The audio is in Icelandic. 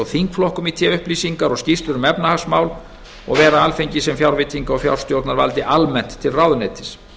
þingflokkum í té upplýsingar og skýrslur um efnahagsmál og vera alþingi sem fjárveitinga og fjárstjórnarvaldi almennt til ráðuneytis